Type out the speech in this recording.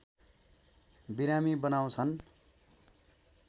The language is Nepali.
बिरामी बनाउँछन्